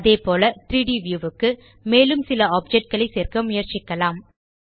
அதேபோல 3ட் வியூ க்கு மேலும் சில ஆப்ஜெக்ட் களை சேர்க்க முயற்சிக்கலாம்